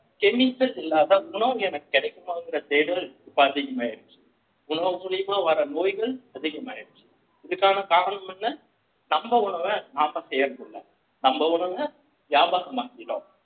chemicals இல்லாத உணவு எனக்கு கிடைக்குமாங்கிற தேடல் இப்போ அதிகமாயிருச்சு உணவு மூலியமா வர நோய்கள் அதிகமாயிருச்சு இதுக்கான காரணம் என்ன நம்ப உணவை நாம செய்யறதில்ல நம்ம உணவ வியாபாரம் ஆகிட்டோம்